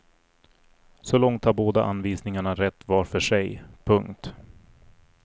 Så långt har båda anvisningarna rätt var för sig. punkt